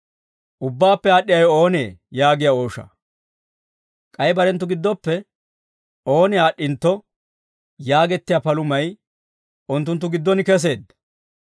K'ay barenttu giddoppe ooni aad'd'intto yaagettiyaa palumay unttunttu giddon keseedda.